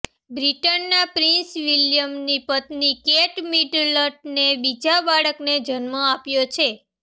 બ્રિટનના પ્રિંસ વિલિયમની પત્ની કેટ મિડલટને બીજા બાળકને જન્મ આપ્યો છે